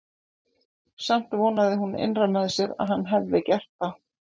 Samt vonaði hún innra með sér að hann hefði gert það.